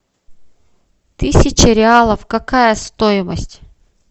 тысяча реалов какая стоимость